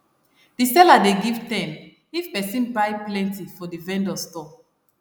the seller dey give ten if person buy plenty for the vendor store